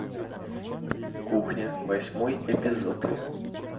кухня восьмой эпизод